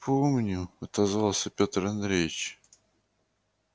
помню отозвался пётр андреевич